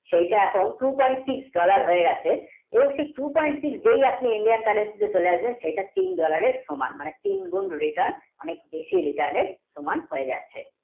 সেইটা এখন three, times, the, dollar হয়ে গেছে এই যে three, times যেই আপনি Indian, currency চলে আসবে সেটা তিন dollar সমান মানে তিন গুণ return সমান হয়ে যাচ্ছে